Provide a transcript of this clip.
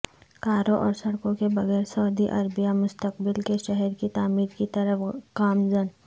کاروں اورسڑکوں کے بغیر سعودی عربیہ مستقبل کے شہر کی تعمیر کی طرف گامزن